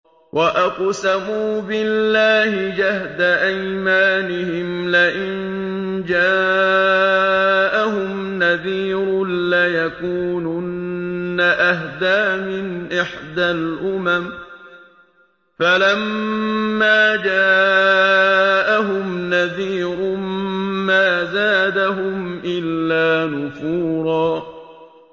وَأَقْسَمُوا بِاللَّهِ جَهْدَ أَيْمَانِهِمْ لَئِن جَاءَهُمْ نَذِيرٌ لَّيَكُونُنَّ أَهْدَىٰ مِنْ إِحْدَى الْأُمَمِ ۖ فَلَمَّا جَاءَهُمْ نَذِيرٌ مَّا زَادَهُمْ إِلَّا نُفُورًا